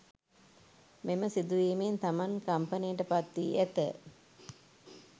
මෙම සිදුවීමෙන් තමන් කම්පනයට පත්වී ඇත